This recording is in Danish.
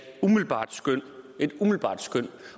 umiddelbart skøn et umiddelbart skøn